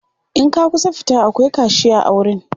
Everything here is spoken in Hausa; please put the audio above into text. in ka kusa fita akwai kashiya a wurin